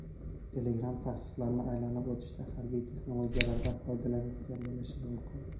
Telegram taqiqlarni aylanib o‘tishda harbiy texnologiyalardan foydalanayotgan bo‘lishi mumkin.